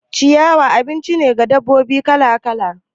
Ciyawa abinci ne wa dabbobi kala kala